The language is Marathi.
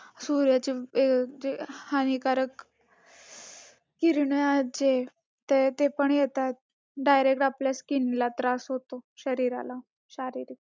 सूर्याची हानिकारक किरणे आहेत जे ते ते पण येतात. direct आपल्या skin ला त्रास होतो शरीराला शारीरिक